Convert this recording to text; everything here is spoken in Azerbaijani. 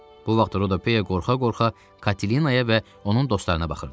Bu vaxt Rodopeya qorxa-qorxa Katinaya və onun dostlarına baxırdı.